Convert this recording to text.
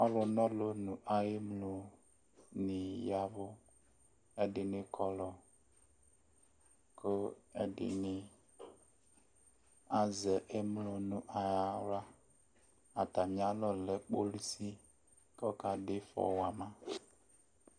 Alʋna ɔlʋ nʋ ayʋ emlonɩ ya ɛvʋ Ɛdɩnɩ kɔlɔ kʋ ɛdɩnɩ azɛ emlo nʋ aɣla Atamɩalɔ lɛ kpolisi kʋ ɔkadʋ ɩfɔ wa ma